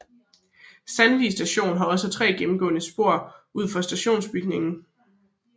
Sandvig Station havde også 3 gennemgående spor ud for stationsbygningen